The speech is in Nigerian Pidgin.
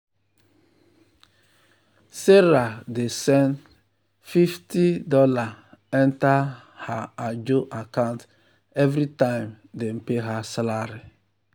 sarah dey send fifty dollarsenter her ajo account every time dem pay her salary.